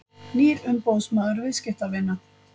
Nýr umboðsmaður viðskiptavina